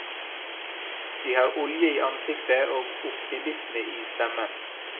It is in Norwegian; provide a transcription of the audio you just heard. De har olje i ansiktet og optimisme i stemmen.